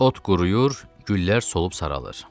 Ot quruyur, güllər solub saralır.